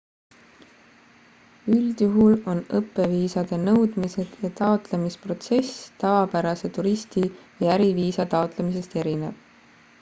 üldjuhul on õppeviisade nõudmised ja taotlemisprotsess tavapärase turisti või äriviisa taotlemisest erinev